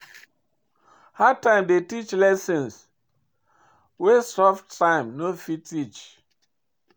Hard time dey teach lessons wey soft time no fit teach.